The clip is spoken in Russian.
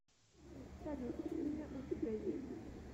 салют имя у тебя есть